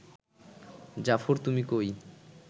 জাফর তুমি কই